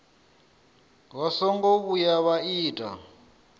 vha songo vhuya vha ita